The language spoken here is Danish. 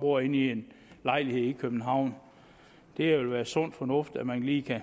bor i en lejlighed i københavn det vil være sund fornuft at man lige kan